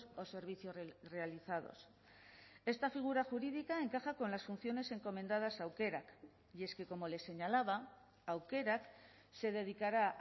o servicios realizados esta figura jurídica encaja con las funciones encomendadas aukerak y es que como les señalaba aukerak se dedicará